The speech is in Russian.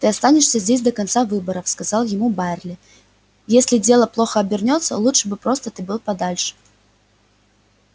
ты останешься здесь до конца выборов сказал ему байерли если дело плохо обернётся лучше бы ты был подальше